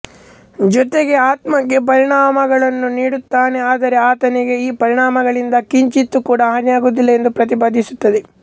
ಜೊತೆಗೆ ಆತ್ಮಕ್ಕೆ ಪರಿಣಾಮಗಳನ್ನು ನೀಡುತ್ತಾನೆ ಆದರೆ ಆತನಿಗೆ ಈ ಪರಿಣಾಮಗಳಿಂದ ಕಿಂಚಿತ್ ಕೂಡ ಹಾನಿಯಾಗುವುದಿಲ್ಲ ಎಂದು ಪ್ರತಿಪಾದಿಸುತ್ತದೆ